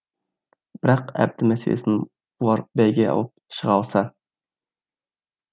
бірақ әбді мәселесін бұлар бәйге алып шыға алса